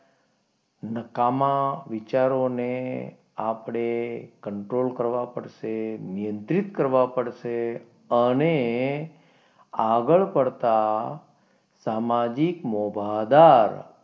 નકામા વિચારોને આપણે કંટ્રોલ કરવા પડશે, નિયંત્રિત કરવા પડશે, અને આગળ પડતા સામાજિક મોભાદાર,